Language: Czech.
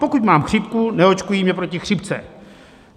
Pokud mám chřipku, neočkují mě proti chřipce.